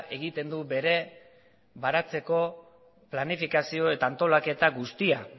egiten du bere baratzeko planifikazio eta antolaketa guztia